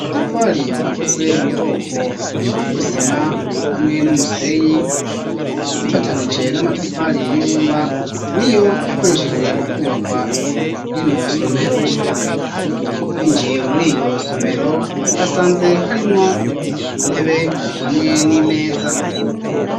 amatafari akozwe mu bwoko bw'isima hamwe n'umusenyi bifatanije n'amatafari y'ibumba, niyo yakoreshejwe mu kubaka rino somero, twinjiye muri iryo somero twasanze harimwo intebe hamwe n'imeza.